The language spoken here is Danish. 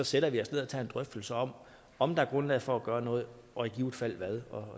sætter os ned og tage en drøftelse om om der er grundlag for at gøre noget og i givet fald hvad